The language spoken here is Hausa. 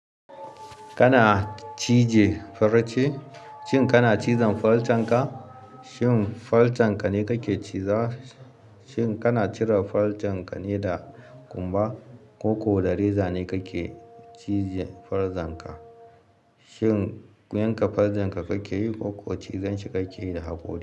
Kana cije fara ce? Shin kana cizon farcen ka? Shin farcen ka ne kake ciza? Shin kana cire farcen ka ne da ƙumba, koko da reza ne kake cije farcen ka? Shin yanka farcen ka kake yi ko cizon shi kake yi da hakori?